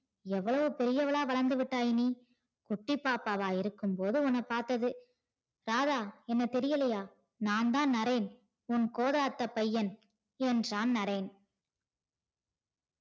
இவ்வளவு பெரியவளா வளந்துவிட்டாய் நீ குட்டி பாப்பாவா இருக்கும் போது உன்ன பாத்தது ராதா என்ன தெரியலையா நான்தான் நரேன் உன் கோத அத்த பையன் என்றான் நரேன்.